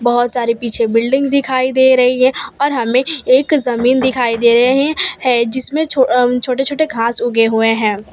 बहुत सारी पीछे बिल्डिंग दिखाई दे रही हैं और हमें एक जमीन दिखाई दे रही है जिसमें अह छोटे छोटे घास उगे हुए हैं।